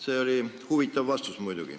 See oli muidugi huvitav vastus.